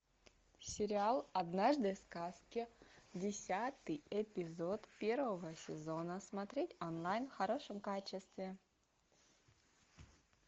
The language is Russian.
сериал однажды в сказке десятый эпизод первого сезона смотреть онлайн в хорошем качестве